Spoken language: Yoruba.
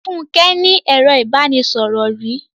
Fúnke ní ẹro ìbánisọ̀rò rí.